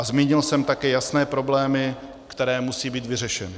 A zmínil jsem taky jasné problémy, které musí být vyřešeny.